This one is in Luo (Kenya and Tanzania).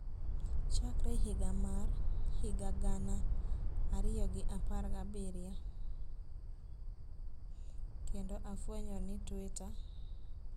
chakre higa mar higa gana ariyo gi apar gabiriyo kendo afwenyo ni Twitter